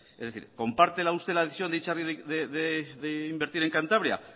es decir comparte usted la decisión de itzarri de invertir en cantabria